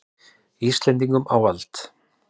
Íslendingum á vald.